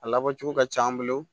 A labɔ cogo ka c'an bolo